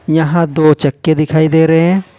यहां दो चक्के दिखाई दे रहे हैं।